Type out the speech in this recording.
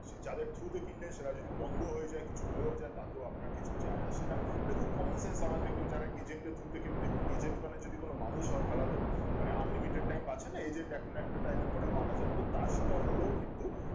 যাদের through তে কিনলেন সেটা যদি বন্ধও হয়ে যাই কিছু হয়েও যাই তাতেও আপনার কিছু যাই আসে না মানে খুব common scenc তারপর দেখবেন যারা agent এর through কিনে দেখুন agent মানে কোনো মানুষ হন তাহলে তো মানে unlimited time বাছেনা এই যে দেখেন একটা time এর পরে মারা যান তো তা সেটাও হলেও কিন্তু